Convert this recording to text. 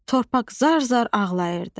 Torpaq zar-zar ağlayırdı.